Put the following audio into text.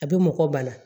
A bɛ mɔgɔ bana